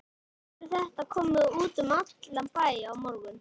Nú verður þetta komið út um allan bæ á morgun.